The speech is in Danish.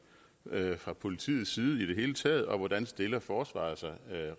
fra politiets side i det hele taget og hvordan stiller forsvaret sig